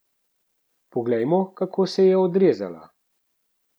Poglejmo, kako se je odrezala.